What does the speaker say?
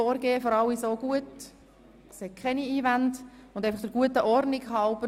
Sind Sie mit diesem Vorgehen einverstanden?